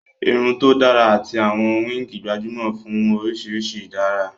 Irun tó dára àti àwọn wíìgì gbajúmọ̀ fún oríṣi ìdárà